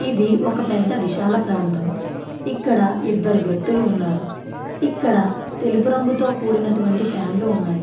ఇది ఒక పెద్ద విశాల ప్రాతం. ఇక్కడ ఇద్దరు వ్యక్తిలు ఉన్నారు. ఇక్కడ తెలుపు రంగుతో కూడినవంటి ఫాన్స్ ఉన్నాయి.